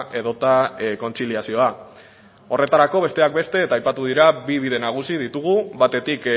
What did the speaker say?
edota kontziliazioa horretarako besteak beste eta aipatu dira bi bide nagusi ditugu batetik